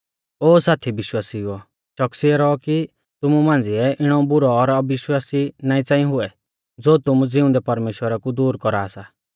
ओ साथी विश्वासिउओ च़ोकसिऐ रौऔ कि तुमु मांझ़िऐ इणौ बुरौ और अविश्वासी नाईं च़ांई हुऐ ज़ो तुमु ज़िउंदै परमेश्‍वरा कु दूर कौरा सा